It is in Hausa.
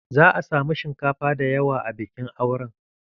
Za'a samu shinkafa dayawa a bikin auren